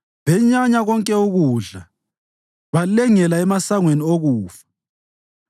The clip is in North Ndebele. Benyanya konke ukudla balengela emasangweni okufa.